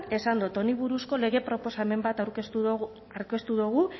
esan dot honi buruzko lege proposamen bat aurkeztu dugu